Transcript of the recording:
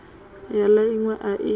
ya la inwe a i